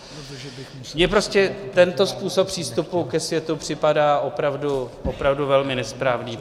Mně prostě tento způsob přístupu ke světu připadá opravdu velmi nesprávný.